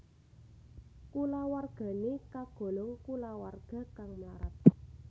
Kulawargane kagolong kulawarga kang mlarat